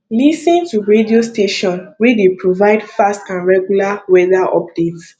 lis ten to radio station wey dey provide fast and regular weather update